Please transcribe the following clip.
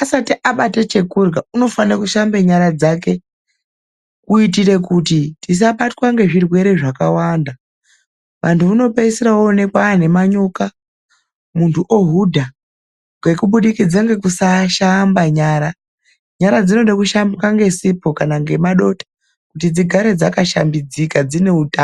asati abate chekurya, unofane kushambe nyara dzake kuitira kuti tisabatwe ngezvirwere zvakawanda. Munthu unopeisira ooneka aane manyoka nekuhudha ngekusashamba nyara. Nyara dzinoda kushambwa ngesipho kana ngemadota kuti dzigare dzakashambidzika dzine utano.